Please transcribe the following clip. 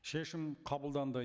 шешім қабылданды